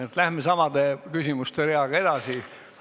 Nii läheme küsimuste reaga edasi.